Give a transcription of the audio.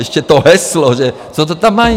Ještě to heslo, že... co to tam mají?